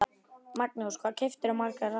Magnús: Hvað kaupirðu margar raðir?